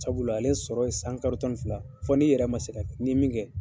Sabula ale sɔrɔ ye san kalo tan fila, fɔ n'i yɛrɛ ma se ka, ni min kɛ.